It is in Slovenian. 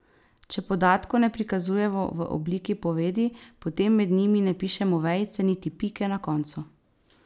Če podatkov ne prikazujemo v obliki povedi, potem med njimi ne pišemo vejice niti pike na koncu.